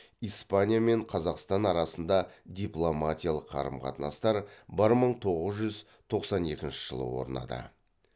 испания мен қазақстан арасында дипломатиялық қарым қатынастар бір мың тоғыз жүз тоқсан екінші жылы орнады